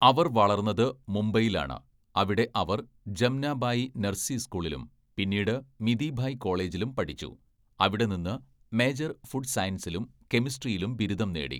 അവർ വളർന്നത് മുംബൈയിലാണ്, അവിടെ അവർ ജംനാബായി നർസി സ്കൂളിലും പിന്നീട് മിതിഭായ് കോളേജിലും പഠിച്ചു, അവിടെ നിന്ന് മേജർ ഫുഡ് സയൻസിലും കെമിസ്ട്രിയിലും ബിരുദം നേടി.